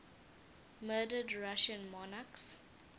murdered russian monarchs